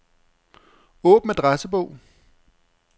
Åbn adressebog.